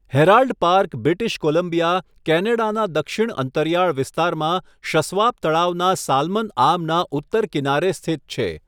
Herald Park British Columbia, કેનેડાના દક્ષિણ અંતરિયાળ વિસ્તારમાં શસ્વાપ તળાવના સાલમન આર્મના ઉત્તર કિનારે સ્થિત છે.